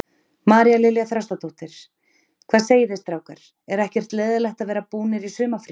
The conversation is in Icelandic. María Lilja Þrastardóttir: Hvað segiði strákar, er ekkert leiðinlegt að vera búnir í sumarfríi?